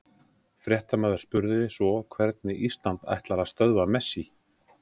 Fréttamaður spurði svo hvernig Ísland ætlar að stöðva Messi?